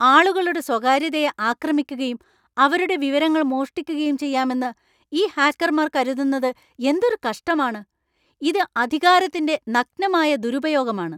ആളുകളുടെ സ്വകാര്യതയെ ആക്രമിക്കുകയും അവരുടെ വിവരങ്ങൾ മോഷ്ടിക്കുകയും ചെയ്യാമെന്നു ഈ ഹാക്കർമാർ കരുതുന്നത് എന്തൊരു കഷ്ടമാണ്! ഇത് അധികാരത്തിന്‍റെ നഗ്നമായ ദുരുപയോഗമാണ്.